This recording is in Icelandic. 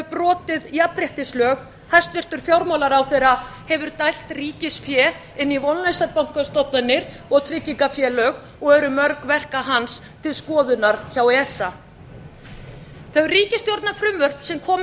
brotið jafnréttislög hæstvirtur fjármálaráðherra hefur dælt ríkisfé inn í vonlausar bankastofnanir og tryggingafélög og eru mörg verka hans til skoðunar hjá esa þau ríkisstjórnarfrumvörp sem komið